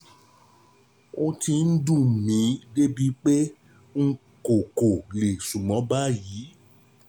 Ó ti ń dùn mí débi pé n kò kò lè sùn mọ́ báyìí